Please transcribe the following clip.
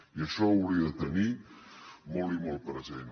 i això ho hauria de tenir molt i molt present